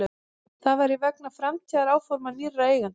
Það væri vegna framtíðaráforma nýrra eigenda